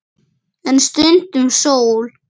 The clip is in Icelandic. En stundum sól.